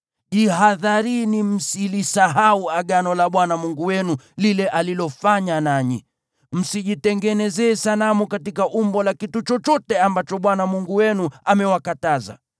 Jihadharini msilisahau Agano la Bwana Mungu wenu lile alilofanya nanyi; msijitengenezee sanamu katika umbo la kitu chochote ambacho Bwana Mungu wenu amewakataza.